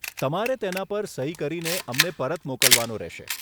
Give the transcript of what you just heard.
તમારે તેના પર સહી કરીને અમને પરત મોકલવાનો રહેશે.